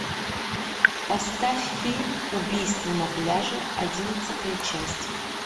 поставь фильм убийство на пляже одиннадцатая часть